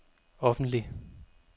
offentlig